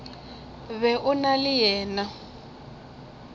be o na le yena